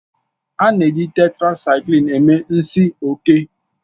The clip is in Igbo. A na-eji Tetrasaiklin eme nsi oke